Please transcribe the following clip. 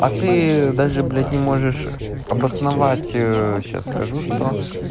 а ты даже блять не можешь обосновать сейчас скажу что